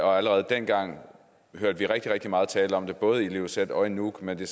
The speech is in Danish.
og allerede dengang hørte vi rigtig rigtig meget tale om det både i ilulissat og i nuuk men det